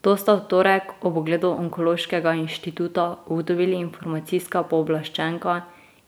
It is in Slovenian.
To sta v torek ob ogledu Onkološkega inštituta ugotovili informacijska pooblaščenka